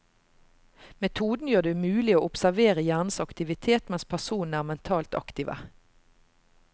Metoden gjør det mulig å observere hjernens aktivitet mens personene er mentalt aktive.